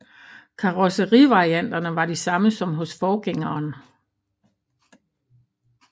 Karrosserivarianterne var de samme som hos forgængeren